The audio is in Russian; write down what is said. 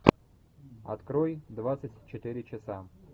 открой двадцать четыре часа